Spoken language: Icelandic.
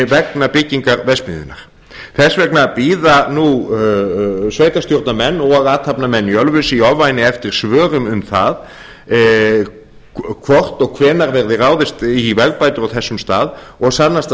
vegna byggingar verksmiðjunnar þess vegna bíða nú sveitarstjórnarmenn og athafnamenn í ölfusi í ofvæni eftir svörum um það hvort og hvenær verði ráðist í vegabætur á þessum stað og sannast